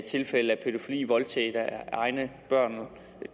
tilfælde af pædofili voldtægt af egne børn